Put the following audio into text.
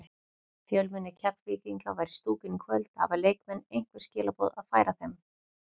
Fjölmenni Keflvíkinga var í stúkunni í kvöld, hafa leikmenn einhver skilaboð að færa þeim?